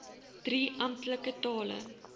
drie amptelike tale